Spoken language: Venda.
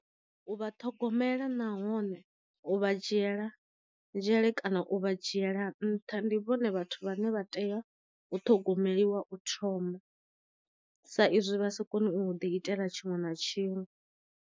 U vha ṱhogomela nahone u vha dzhiela nzhele kana u vha dzhiela nṱha ndi vhone vhathu vhane vha tea u ṱhogomeliwa u thoma sa izwi vha sa koni u ḓi itela tshiṅwe na tshiṅwe.